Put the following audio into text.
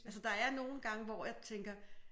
Altså der er nogle gange hvor jeg tænker